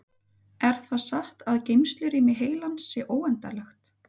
Er það satt að geymslurými heilans sé óendanlegt?